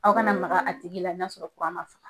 Aw kana maka a tigi la n'a sɔrɔ ma faga.